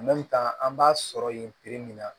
an b'a sɔrɔ yen perepere